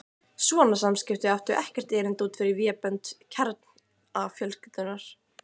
Svona samskipti áttu ekkert erindi út fyrir vébönd kjarnafjölskyldunnar.